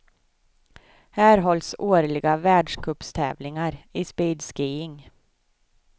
Här hålls årliga världscupstävlingar i speedskiing.